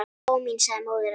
Lóa mín, sagði móðir hennar.